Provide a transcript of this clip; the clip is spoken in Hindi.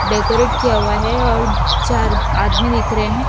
डेकोरेट किया हुआ है और चार आदमी दिख रहे हैं।